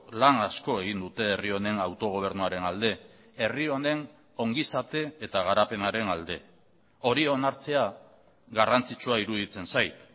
lan asko egin dute herri honen autogobernuaren alde herri honen ongi izate eta garapenaren alde hori onartzea garrantzitsua iruditzen zait